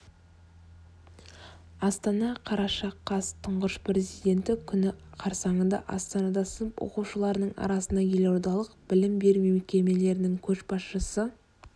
астана қараша қаз тұңғыш президенті күні қарсаңында астанада сынып оқушыларының арасында елордалық білім беру мекемелерінің көшбасшы